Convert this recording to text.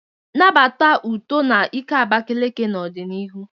Nabata uto na ike Abakaliki n'ọdịnihu.